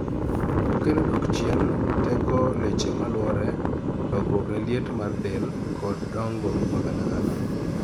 okelo duoko chien teko leche maluore lokruok ne liet mar del (arrhythmia) kod dongo magalagala